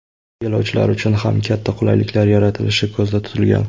Yo‘lovchilar uchun ham katta qulayliklar yaratilishi ko‘zda tutilgan.